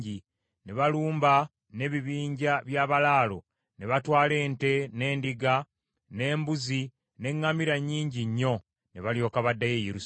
Ne balumba n’ebibinja by’abalaalo, ne batwala ente, n’endiga, n’embuzi, n’eŋŋamira nnyingi nnyo, ne balyoka baddayo e Yerusaalemi.